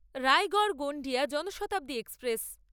Raigad Gondia Janshatabdi express